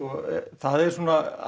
það er svona